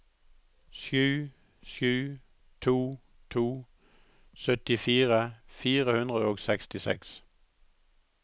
sju sju to to syttifire fire hundre og sekstiseks